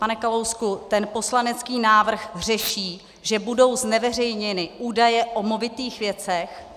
Pane Kalousku, ten poslanecký návrh řeší, že budou zneveřejněny údaje o movitých věcech.